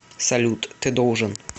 салют ты должен